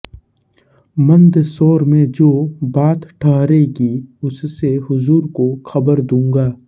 मन्दसौर में जो बात ठहरेगी उससे हुजूर को खबर दूंगा